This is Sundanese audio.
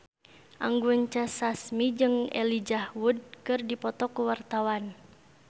Anggun C. Sasmi jeung Elijah Wood keur dipoto ku wartawan